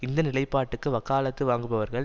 இந்த நிலைப்பாட்டுக்கு வக்காலத்து வாங்குபவர்கள்